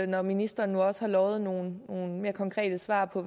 når ministeren nu også har lovet nogle nogle mere konkrete svar på